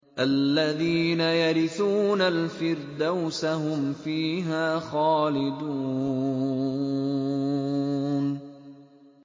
الَّذِينَ يَرِثُونَ الْفِرْدَوْسَ هُمْ فِيهَا خَالِدُونَ